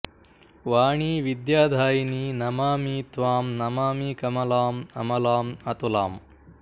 ವಾಣೀ ವಿದ್ಯಾದಾಯಿನೀ ನಮಾಮಿ ತ್ವಾಂ ನಮಾಮಿ ಕಮಲಾಂ ಅಮಲಾಂ ಅತುಲಾಂ